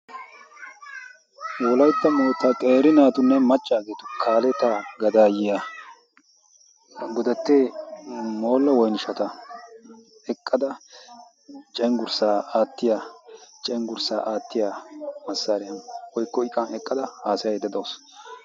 wolaitta mootta xeeri naatunne maccaageetu kaalettaa gadaayyiya godattee moolo woinishshata eqqada cenggurssaa aattiya cenggurssaa aattiya massaariya woikko iqan heqqada haasayaidda de'awusu.